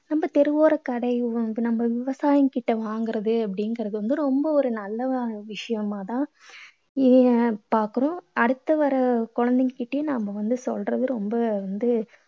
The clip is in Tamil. நம்ம தெருவோரக் கடையிலும் நம்ம விவசாயி கிட்ட வாங்கறது அப்படீங்கறது வந்து ரொம்ப ஒரு நல்லதா விஷயமா தான் நீங்க பார்க்கணும். அடுத்து வர குழந்தைங்க கிட்டையும் நம்ம வந்து சொல்றது ரொம்ப வந்து